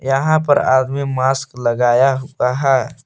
यहां पर आदमी मास्क लगाया हुआ है।